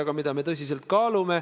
Paraku selgus, et nii see ei olnud.